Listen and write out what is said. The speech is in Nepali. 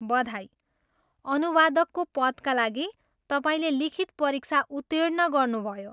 बधाई! अनुवादकको पदका लागि तपाईँले लिखित परीक्षा उतिर्ण गर्नुभयो।